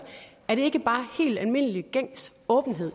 er det ikke bare helt almindelig gængs åbenhed